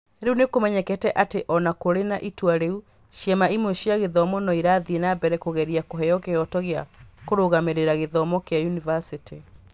Rĩu nĩ kũmenyekete atĩ o na kũrĩ na itua rĩu, ciama imwe cia gĩthomo no irathiĩ na mbere kũgeria kũheo kĩhooto gĩa kũrũgamĩrĩra gĩthomo kĩa yunivacĩtĩ.